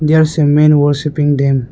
There is a men worshipping them.